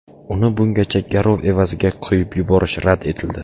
Uni bungacha garov evaziga qo‘yib yuborish rad etildi.